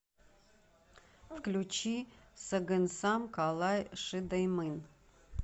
включи сагынсам калай шыдаймын